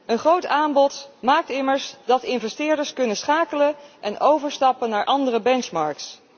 Een groot aanbod maakt immers dat investeerders kunnen schakelen en overstappen naar andere benchmarks.